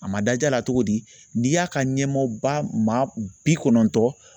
A ma dadiy'a la cogo di n'i y'a ka ɲɛmɔgɔba maa bi kɔnɔntɔn